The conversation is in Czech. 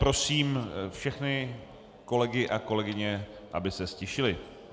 Prosím všechny kolegy a kolegyně, aby se ztišili.